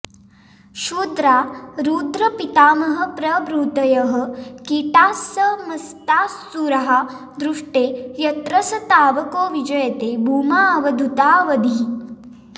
क्षुद्रा रुद्रपितामहप्रभृतयः कीटास्समस्तास्सुराः दृष्टे यत्र स तावको विजयते भूमाऽवधूतावधिः